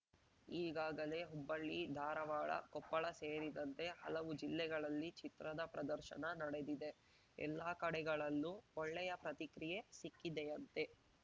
ಈಗಾಗಲೇ ಹುಬ್ಬಳ್ಳಿಧಾರಾವಾಡ ಕೊಪ್ಪಳ ಸೇರಿದಂತೆ ಹಲವು ಜಿಲ್ಲೆಗಳಲ್ಲಿ ಚಿತ್ರದ ಪ್ರದರ್ಶನ ನಡೆದಿದೆ ಎಲ್ಲಾ ಕಡೆಗಳಲ್ಲೂ ಒಳ್ಳೆಯ ಪ್ರತಿಕ್ರಿಯೆ ಸಿಕ್ಕಿದೆಯಂತೆ